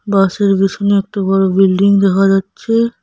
বাস -এর পিছনে একটি বড় বিল্ডিং দেখা যাচ্ছে।